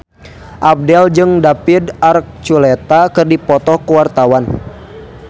Abdel jeung David Archuletta keur dipoto ku wartawan